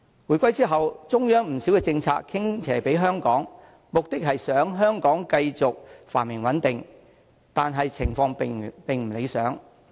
回歸後，中央不少政策傾斜香港，目的是想香港繼續繁榮穩定，但情況並不理想。